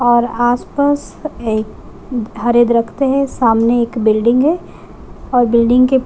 और आस-पास एक हरे है सामने एक बिल्डिंग है और बिल्डिंग के --